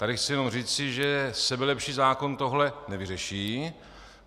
Tady chci jenom říci, že sebelepší zákon tohle nevyřeší.